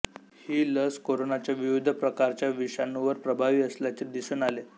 ही लस कोरोनाच्या विविध प्रकारच्या विषणुवर प्रभावी असल्याचे दिसून आले